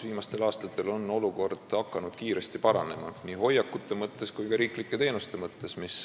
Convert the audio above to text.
Viimastel aastatel on olukord hakanud kiiresti paranema nii hoiakute kui ka ohvritele tagatud riiklike teenuste mõttes.